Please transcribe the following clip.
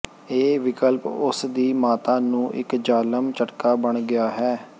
ਇਹ ਵਿਕਲਪ ਉਸ ਦੀ ਮਾਤਾ ਨੂੰ ਇੱਕ ਜ਼ਾਲਮ ਝਟਕਾ ਬਣ ਗਿਆ ਹੈ